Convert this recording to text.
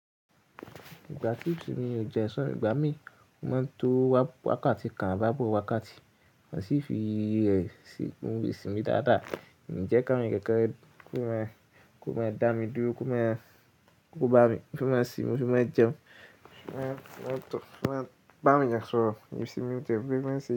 Ìgbà tí ètù ni ò jẹ Ìsọ igbá mi, ó máa ń to wákàtí kan á bá bọ̀ wákàtí. Mo sì fi ẹ̀ sí Òòrùn ìsìn mi dáadáa, mí jẹ́ ká mi kẹ̀kẹ́, kó máa dá mi dúró, kó máa bá mi, kí ó má sì mú, kí ó má jẹun, kí ó máa tọ̀, kí ó máa bá mi yàn sọ̀rọ̀, ìsìn mi dẹ́kun, kí ó má sì.